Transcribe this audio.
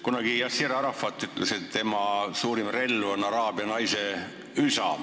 Kunagi ütles Yasser Arafat, et tema suurim relv on araabia naise üsk.